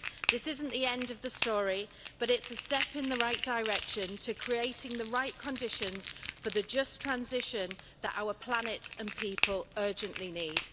This isn't the end of the story, but it's a step in the right direction to creating the right conditions for the just transition that our planet and people urgently need.